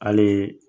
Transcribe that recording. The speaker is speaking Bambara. Hali